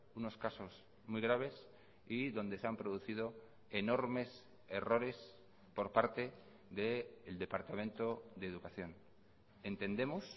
unos casos muy graves y donde se han producido enormes errores por parte del departamento de educación entendemos